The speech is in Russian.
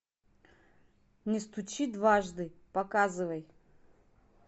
не стучи дважды показывай